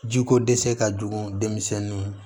Jiko dɛsɛ ka jugu denmisɛnninw ma